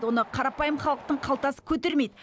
оны қарапайым халықтың қалтасы көтермейді